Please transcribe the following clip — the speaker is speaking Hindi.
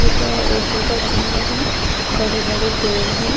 एक अशोका चिन्ह है बड़े-बड़े पेड़ है।